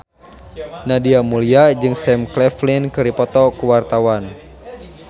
Nadia Mulya jeung Sam Claflin keur dipoto ku wartawan